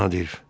Nadir!